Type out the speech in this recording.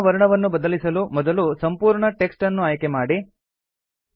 table ನ ವರ್ಣವನ್ನು ಬದಲಿಸಲು ಮೊದಲು ಸಂಪೂರ್ಣ ಟೆಕ್ಸ್ಟ್ ಅನ್ನು ಆಯ್ಕೆ ಮಾಡಿ